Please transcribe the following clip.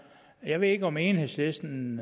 jeg ved ikke om enhedslisten